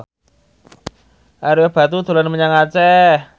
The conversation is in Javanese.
Ario Batu dolan menyang Aceh